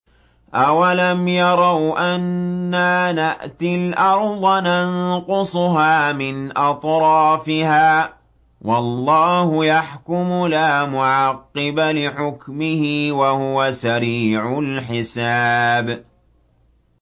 أَوَلَمْ يَرَوْا أَنَّا نَأْتِي الْأَرْضَ نَنقُصُهَا مِنْ أَطْرَافِهَا ۚ وَاللَّهُ يَحْكُمُ لَا مُعَقِّبَ لِحُكْمِهِ ۚ وَهُوَ سَرِيعُ الْحِسَابِ